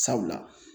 Sabula